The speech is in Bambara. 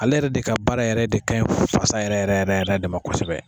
Ale yɛrɛ de ka baara yɛrɛ de ka ɲi fasa yɛrɛ yɛrɛ yɛrɛ de ma kosɛbɛ.